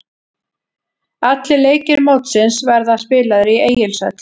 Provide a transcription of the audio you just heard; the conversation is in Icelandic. Allir leikir mótsins verða spilaðir í Egilshöll.